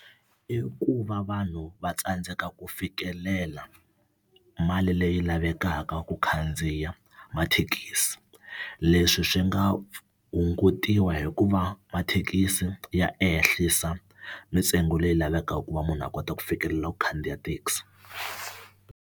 I ku va vanhu va tsandzeka ku fikelela mali leyi lavekaka ku khandziya mathekisi leswi swi nga hungutiwa hikuva mathekisi ya ehlisa mintsengo leyi lavekaka ku va munhu a kota ku fikelela ku khandziya thekisi.